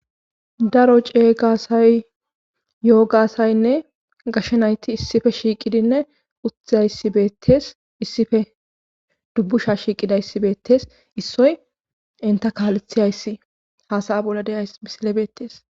daro cee gasay yo7o gaasaynne gashshe nayti issife shiiqidinne utzayibetes issife dubbusha shiiqida issibeettes issoy inta kaalethi hayssi haasaya bolla deyays misile beettees